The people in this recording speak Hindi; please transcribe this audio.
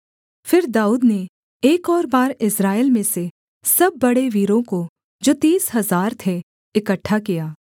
फिर दाऊद ने एक और बार इस्राएल में से सब बड़े वीरों को जो तीस हजार थे इकट्ठा किया